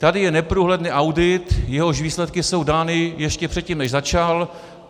"Tady je neprůhledný audit, jehož výsledky jsou dány ještě předtím, než začal.